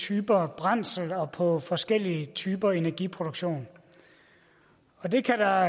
typer brændsler og forskellige typer energiproduktion og det kan der